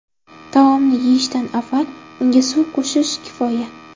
Taomni yeyishdan avval unga suv qo‘shish kifoya.